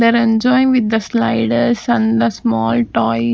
they are enjoying with the sliders and the small toys--